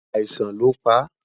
àìsàn ló pa